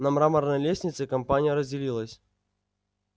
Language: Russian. на мраморной лестнице компания разделилась